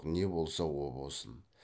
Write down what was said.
не болса о болсын